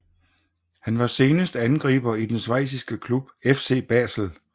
Han var senest angriber i den schweiziske klub FC Basel